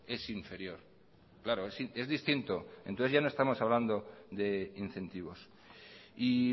es inferior claro es distinto entonces ya no estamos hablando de incentivos y